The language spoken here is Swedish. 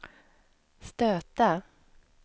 stöta